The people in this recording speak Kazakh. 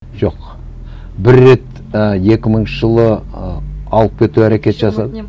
жоқ бір рет і екі мыңыншы жылы ы алып кетіп әрекет жасады